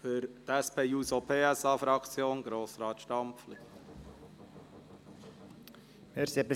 Für die SP-JUSO-PSA-Fraktion hat Grossrat Stampfli das Wort.